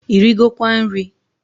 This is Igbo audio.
Irigokwa nri?